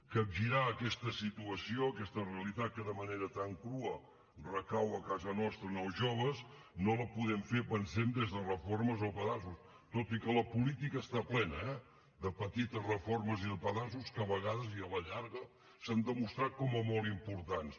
capgirar aquesta situació aquesta realitat que de manera tan crua recau a casa nostra en els joves no la podem fer ho pensem des de reformes o pedaços tot i que la política n’està plena eh de petites reformes i de pedaços que a vegades i a la llarga s’han demostrat com a molt importants